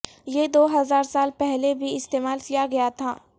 یہ دو ہزار سال پہلے بھی استعمال کیا گیا تھا